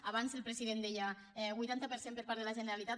abans el president deia vuitanta per cent per part de la generalitat